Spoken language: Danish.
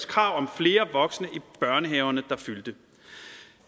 krav om flere voksne i børnehaverne der fyldte